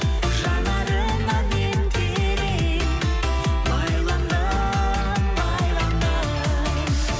жанарыңа мен терең байландым байландым